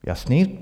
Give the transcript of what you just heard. Jasný.